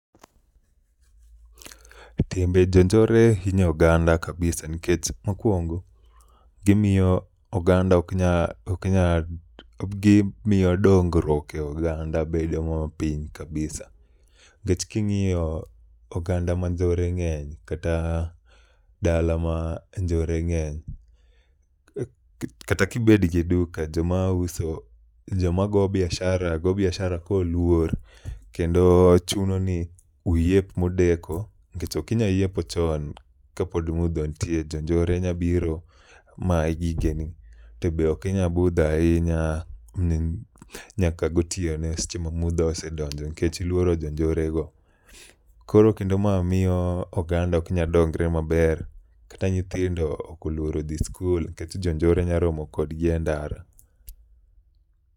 Timbe jonjore hinyo oganda kabisa nikech mokwongo gimiyo dongruok e oganda bedo mapiny kabisa nikech king'iyo oganda manjore ng'eny kata dala ma njore ng'eny kata kibet gi duka joma go biashara go biashara koluor kendo chuno ni uyep modeko nkech okinya yepo chon kapod mudho nitie jonjore nyabiro mayi gigeni to be okinya budho ahinya nyaka gotieno seche ma mudho osedonjo nikech iluoro jonjore go. Koro kendo ma miyo oganda oknya dongre maber kata nyithindo oluoro dhi skul nkech jonjore nya romo kodgi e ndara.